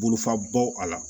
Bolofaba bɔ a la